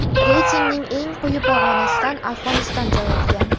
Reytingning eng quyi pog‘onasidan Afg‘oniston joy olgan.